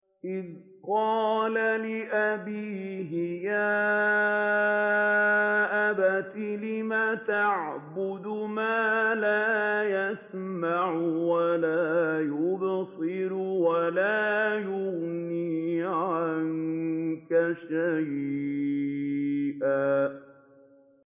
إِذْ قَالَ لِأَبِيهِ يَا أَبَتِ لِمَ تَعْبُدُ مَا لَا يَسْمَعُ وَلَا يُبْصِرُ وَلَا يُغْنِي عَنكَ شَيْئًا